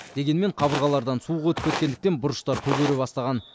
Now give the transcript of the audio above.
дегенмен қабырғалардан суық өтіп кеткендіктен бұрыштар көгере бастаған